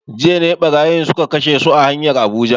Jiya ne barayin suka kashe su a hanyar Abuja